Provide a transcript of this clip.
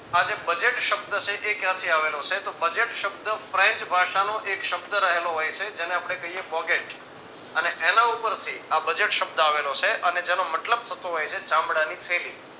આ જે budget શબ્દ છે એ ક્યાંથી આવેલો છે તો budget શબ્દ french ભાષાનો એક શબ્દ રહેલો હોય છે જેને આપણે કહીએ bougette અને એના ઉપરથી આ budget શબ્દ આવેલો છે અને જેનો મતલબ થતો હોય છે ચામડાની થેલી